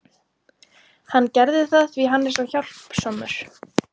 Hann gerði það því að hann er svo hjálpsamur.